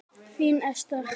Þín Esther.